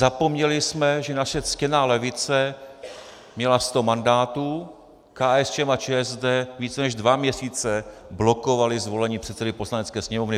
Zapomněli jsme, že naše ctěná levice měla sto mandátů, KSČM a ČSSD více než dva měsíce blokovaly zvolení předsedy Poslanecké sněmovny.